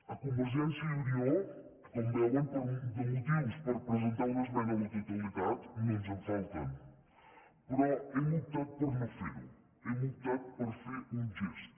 a convergència i unió com veuen de motius per presentar una esmena a la totalitat no ens en falten però hem optat per no fer ho hem optat per fer un gest